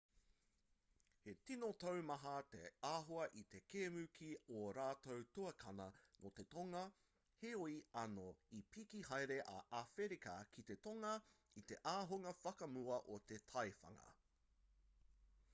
he tino taumaha te āhua i te kēmu ki ō rātou tuakana nō te tonga heoi anō i piki haere a āwherika ki te tonga i te ahunga whakamua o te taiwhanga